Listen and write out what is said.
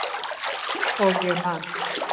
Og ég man.